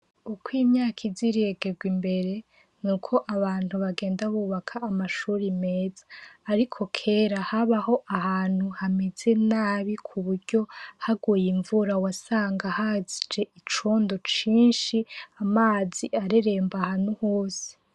Uko imyaka iza iregerwa imbere, ni ko abantu bagenda bubaka amashure meza. Ariko kera, habaho ahantu hameze nabi ku buryo haguye imvura, wasanga haje icondo cinshi, amazi areremba ahantu hose.